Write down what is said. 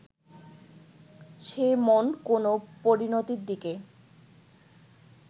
সে মন কোনো পরিণতির দিকে